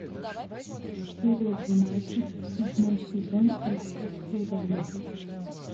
серия двенадцать седьмой сезон рассказ служанки